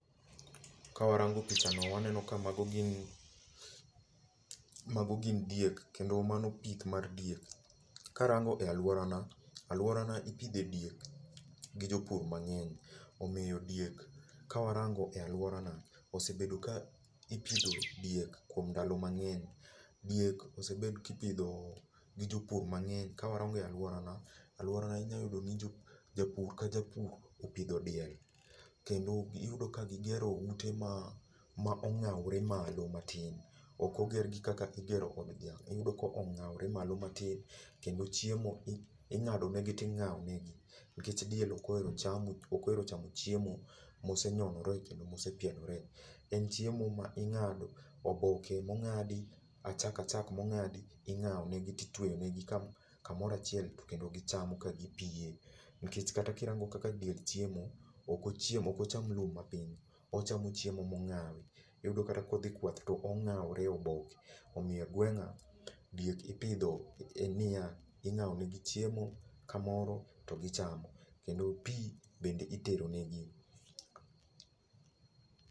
Kawarango pichano waneno ka mago gin diek kendo mano pith mar diek. Karango e alworana, alworana ipidhe diek gi jopur mang'eny. Omiyo diek ka warango e alworana, osebedo ka ipidho diek e ndalo mang'eny. Diek osebed ka ipidho gi jopur mang'eny, ka warango e alworana, alworana inya yudo ni japur ka japur opidho diel, kendo iyudo ka gigero ute ma ong'awore malo matin. Ok ogergi kaka igero od dhiang',iyudo ka ong'awre malo matin, kendo chiemo ing'adonegi ting'awone, nikech diek ok ohero chamo chiemo mosenyonore kendo mosepielore. En chiemo ma ing'ado ,oboke mong'adi .achak achak mong'adi ing'awonegi titweyonegi kamoro achiel kendo gichamo ka gipiem. Nikech kata kirango kaka diel chiemo, ok ocham lum mapiny. Ochamo chiemo mong'awi. Iyudo kata kodhi kwath to ong'awre e oboke. Omiyo gwenga, diek ipidho en niya. Ing'awo negi chiemo kamoro to gichamo. Kendo pi bende itero negi.